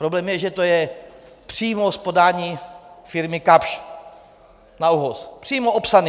Problém je, že to je přímo z podání firmy Kapsch na ÚOHS, přímo opsaný.